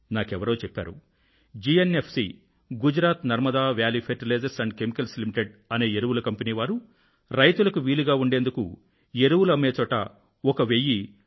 నాకెవరో చెప్పారు Gujarat Narmada valley fertilizers chemicals limited GNF C అనే ఎరువుల కంపెనీ వారు రైతులకు వీలుగా ఉండేందుకు ఎరువులు అమ్మే చోట ఒక 1000 పి